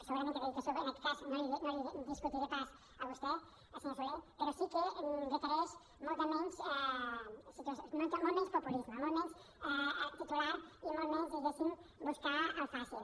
segurament que la dedicació en aquest cas no la hi discutiré pas a vostè senyor soler però sí que requereix molt menys populisme molt menys titular i molt menys diguéssim buscar allò fàcil